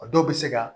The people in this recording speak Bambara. A dɔw bɛ se ka